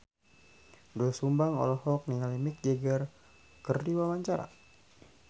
Doel Sumbang olohok ningali Mick Jagger keur diwawancara